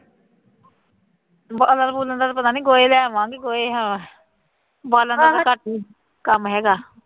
ਬਾਲਣ ਬੂਲਣ ਦਾ ਪਤਾ ਨਹੀਂ ਗੋਹੇ ਲਿਆਵਾਂਗੀ ਗੋਹੇ ਹਾਂ ਬਾਲਣ ਦਾ ਤਾਂ ਘੱਟ ਹੀ ਕੰਮ ਹੈਗਾ